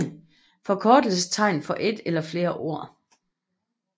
Forkortelsestegn for et eller flere ord